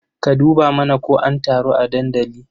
Ka dubo mana ko an taru a dandali.